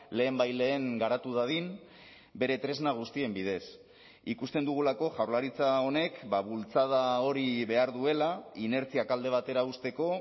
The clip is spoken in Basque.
lehenbailehen garatu dadin bere tresna guztien bidez ikusten dugulako jaurlaritza honek bultzada hori behar duela inertziak alde batera uzteko